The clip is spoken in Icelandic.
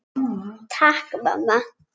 Takk mamma!